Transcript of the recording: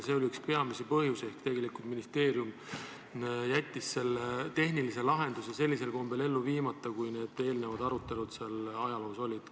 See oli üks peamisi põhjuseid, miks jättis ministeerium tehnilise lahenduse sellisel kombel ellu viimata, nagu need eelnevad arutelud ajaloos olid.